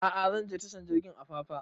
A'a zan je tashar jirgin apapa